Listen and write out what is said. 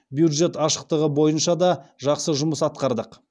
бюджет ашықтығы бойынша да жақсы жұмыс атқардық